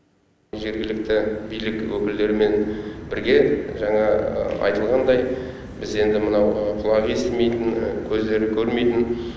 жергілікті билік өкілдерімен бірге жаңа айтылғандай біз енді мынау құлағы естімейтін көздері көрмейтін